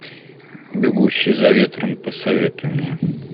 бегущий за ветром посоветуй мне